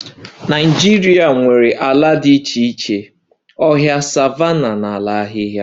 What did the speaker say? Nigeria nwere ala dị iche iche na ọhịa, savannahs, ala ahịhịa